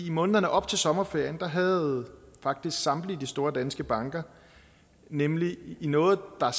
i månederne op til sommerferien havde faktisk samtlige store danske banker nemlig i noget der